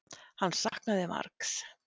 Hann saknaði margs.